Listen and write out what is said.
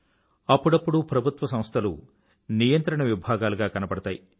అప్పుడప్పుడు ప్రభుత్వసంస్థలు నియంత్రణ విభాగాలుగా కనబడతాయి